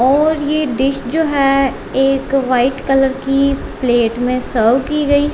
और ये डिश जो है एक वाइट कलर की प्लेट में सर्व की गई--